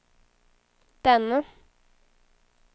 denne